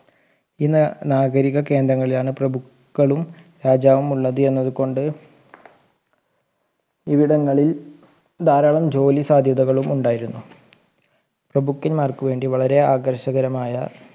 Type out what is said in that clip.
ഈ നാഗരിക കേന്ദ്രങ്ങളിലാണ് പ്രഭുവക്കളും രാജാവും ഉള്ളത് കൊണ്ട് ഇവിടങ്ങളിൽ ധാരാളം ജോലി സാധ്യതകളും ഉണ്ടായിരുന്നു പ്രഭുക്കന്മാർക്ക് വേണ്ടി വളരെ ആകർഷകരമായ